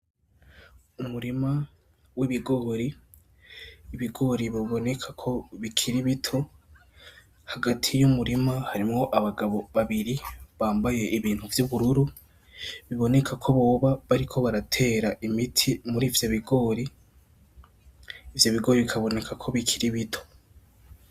Umurima w'ibigori, ibigori biboneka ko bikiri bito, hagati y'umurima harimwo abagabo babiri bambaye ibintu vy'ubururu, biboneka ko bobo bariko baratera imiti muri ivyo bigori, ivyo bigori bikaboneka ko bikiri bito.